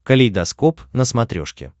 калейдоскоп на смотрешке